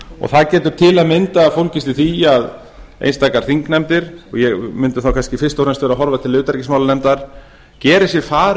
það getur til að mynda fólgist í því að einstaka þingnefndir og ég mundi þá kannski fyrst og fremst vera að horfa til utanríkismálanefndar geri sér far